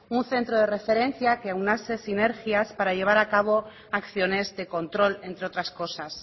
un centro de referencia que aunase sinergias para llevar a cabo acciones de control entre otras cosas